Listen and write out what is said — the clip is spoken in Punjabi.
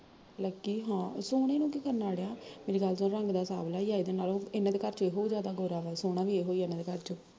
ਲਕੀ ਹਾਂ, ਸੋਹਣੇ ਨੂੰ ਕੀ ਕਰਨਾ ਅੜਿਆ, ਮੇਰੀ ਗੱਲ ਸੁਣ ਰੰਗ ਤਾਂ ਸਾਂਵਲਾ ਈ ਆ ਇਹਦੇ ਨਾਲੋਂ, ਇਹਨਾਂ ਦੇ ਘਰ ਚੋ ਏਹੀ ਜਿਆਦਾ ਗੋਰਾ ਵਾ ਸੋਹਣਾ ਵੀ ਏਹੀ ਆ ਇਹਨਾਂ ਦੇ ਘਰ ਚੋ